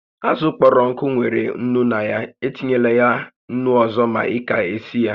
Àzụ̀ okporoko nwèrè ńnú na ya, e tinyela ńnú ọzọ ma ị ka-esi ya